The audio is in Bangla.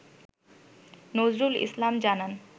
নজরুল ইসলাম জানান